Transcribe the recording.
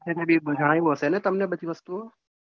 salary એ જાણ્યું હશે ને બધી વસ્તુઓ.